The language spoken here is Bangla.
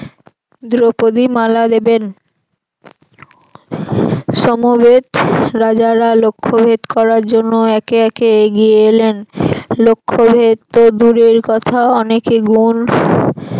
দ্রৌপদি মালা দেবেন সমবেত রাজারা লক্ষ্যভেদ করার জন্য একে একে এগিয়ে এলেন লক্ষ্যভেদ তো দুরের কথা অনেকে গুন